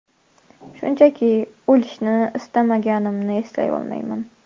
Shunchaki, o‘lishni istamaganimni eslay olaman.